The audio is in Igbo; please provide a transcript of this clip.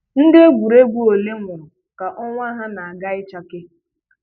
Ndị egwuregwu ole nwụrụ ka ọnwa ha na-aga ịchake